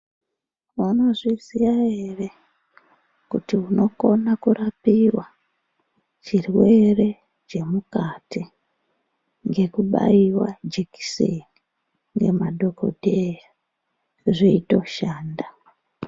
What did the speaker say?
Maizviziva here kuti unokona kurapiwa zvirwere zvemukati ngekubaiwa jekiseni nemadhokoteya zveitoshanda.